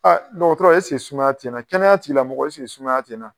dɔgɔtɔrɔ sumaya tɛ na kɛnɛya tigilamɔgɔ sumaya tɛ na?